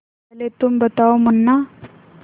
पहले तुम बताओ मुन्ना